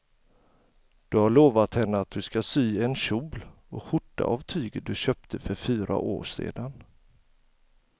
Du har lovat henne att du ska sy en kjol och skjorta av tyget du köpte för fyra år sedan.